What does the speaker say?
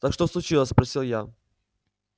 так что случилось спросил я